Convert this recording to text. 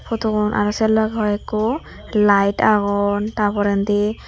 photo gun aro se loge hoiko light agon ta porendi.